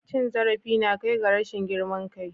Cin zarafi na kai ga rashin girman kai.